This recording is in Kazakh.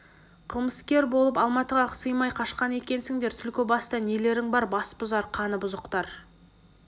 кылмыскер болып алматыға сыймай қашқан екенсіңдер түлкібаста нелерің бар басбұзар қаны бұзықтар